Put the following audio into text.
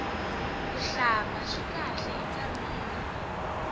kuhlamba swi kahle ka mirhi